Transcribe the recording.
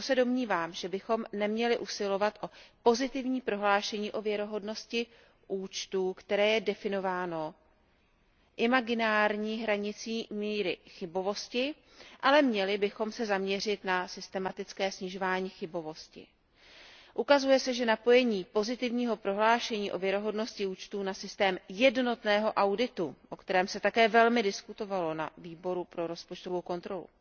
Proto se domnívám, že bychom neměli usilovat o pozitivní prohlášení o věrohodnosti účtů, které je definováno imaginární hranicí míry chybovosti, ale měli bychom se zaměřit na systematické snižování chybovosti. Ukazuje se, že napojení pozitivního prohlášení o věrohodnosti účtů na systém jednotného auditu, o kterém se také velmi diskutovalo na Výboru pro rozpočtovou kontrolu,